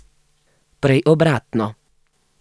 Prej obratno.